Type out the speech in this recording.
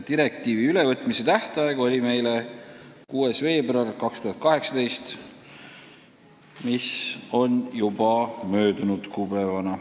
Direktiivi ülevõtmise tähtaeg oli meile 6. veebruar 2018, mis on teatavasti juba möödas.